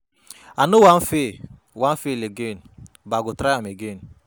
I no wan fail wan fail again but I go try do am again.